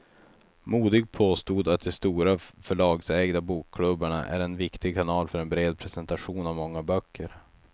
Modig påstod att de stora förlagsägda bokklubbarna är en viktig kanal för en bred presentation av många böcker.